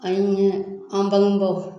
An ye an bangebaaw